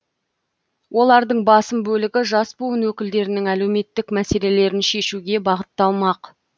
олардың басым бөлігі жас буын өкілдерінің әлеуметтік мәселелерін шешуге бағытталмақ